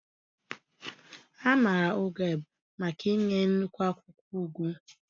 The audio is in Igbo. A maara Ugeb maka inye nnukwu akwụkwọ ugu.